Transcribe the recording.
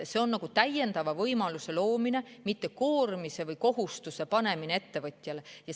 See on nagu täiendava võimaluse loomine, mitte koormise või kohustuse panemine ettevõtjale.